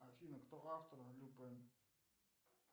афина кто автор люпен